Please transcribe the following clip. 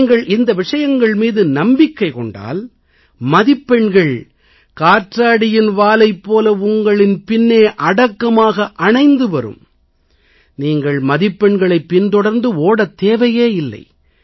நீங்கள் இந்த விஷயங்கள் மீது நம்பிக்கை கொண்டால் மதிப்பெண்கள் காற்றாடியின் வாலைப் போல உங்கள் பின்னே அடக்கமாக அணைந்து வரும் நீங்கள் மதிப்பெண்களைப் பின்தொடர்ந்து ஓடத் தேவையே இல்லை